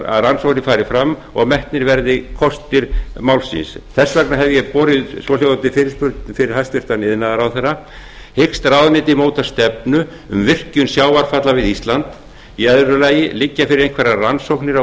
að rannsóknir fari fram og metnir kostir málsins þess vegna hef ég borið svohljóðandi fyrirspurn undir hæstvirtur iðnaðarráðherra fyrstu hyggst ráðuneytið móta stefnu um virkjun sjávarfalla við ísland annars liggja fyrir einhverjar rannsóknir á